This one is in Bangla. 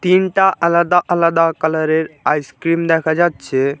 তিনটা আলাদা আলাদা কালার -এর আইস ক্রিম দেখা যাচ্ছে।